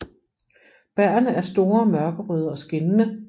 Bærrene er store mørkerøde og skinnende